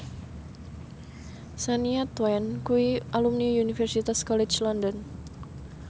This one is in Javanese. Shania Twain kuwi alumni Universitas College London